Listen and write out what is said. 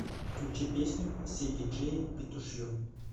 включи песню все диджеи петушье